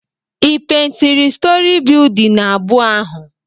ị pèintịrị stòrị bịyụdịn abụọ ahụ?